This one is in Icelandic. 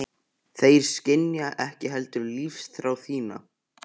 Þeir skynja ekki heldur lífsþrá þína.